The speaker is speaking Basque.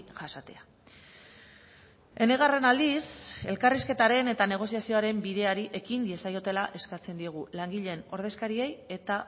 jasatea enegarren aldiz elkarrizketaren eta negoziazioaren bideari ekin diezaiotela eskatzen diegu langileen ordezkariei eta